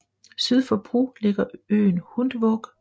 Syd for Bru ligger øen Hundvåg